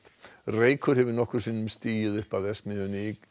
reykur hefur nokkrum sinnum stigið upp af verksmiðjunni í